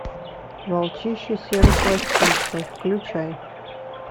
волчище серый хвостище включай